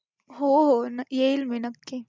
हो हो येईल मी नक्की,